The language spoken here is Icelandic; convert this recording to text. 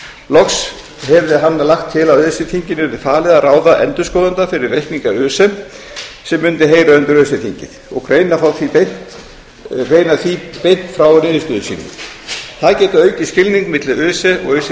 loks hefði hann lagt til að öse þinginu yrði falið að ráða endurskoðanda fyrir reikninga öse sem mundi heyra undir öse þingið og greina því beint frá niðurstöðum sínum það gæti aukið skilning milli öse og öse